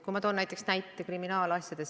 Ma toon näiteks kriminaalasjad.